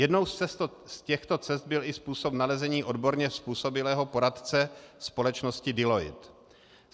Jednou z těchto cest byl i způsob nalezení odborně způsobilého poradce, společnosti Deloitte.